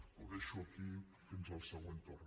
ho deixo aquí fins al següent torn